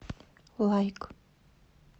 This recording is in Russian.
лайк